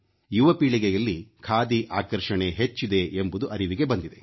ಯುವಪೀಳಿಗೆಯಲ್ಲಿ ಖಾದಿ ಆಕರ್ಷಣೆ ಹೆಚ್ಚಿದೆ ಎಂಬುದು ಅರಿವಿಗೆ ಬಂದಿದೆ